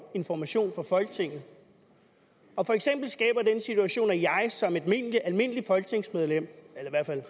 information for folketinget og for eksempel skaber den situation at jeg som et almindeligt folketingsmedlem